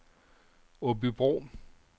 Aabybro